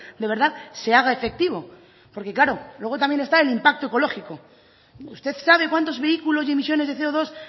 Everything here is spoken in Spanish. de verdad se haga efectivo porque claro luego también está el impacto ecológico usted sabe cuántos vehículos y emisiones de ce o dos